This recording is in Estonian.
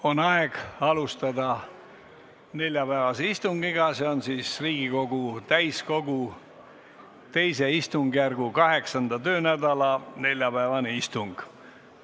On aeg alustada neljapäevast istungit, see on Riigikogu täiskogu II istungjärgu 8. töönädala neljapäevane istung.